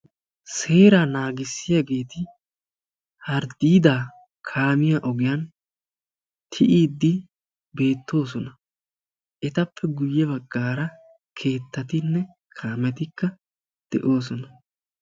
Seera naagissiyaageti harddiida kaamiya ogiyaan tiyyiiddi beettoosona. Etappe guyye baggara keettatinne kaametika de'oosona.